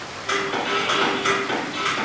Hvaða leikmann Englands verða að skara fram úr?